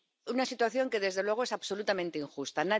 Una situación que, desde luego, es absolutamente injusta.